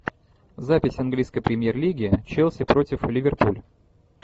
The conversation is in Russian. запись английской премьер лиги челси против ливерпуль